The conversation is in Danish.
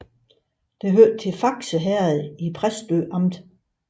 Det hørte til Fakse Herred i Præstø Amt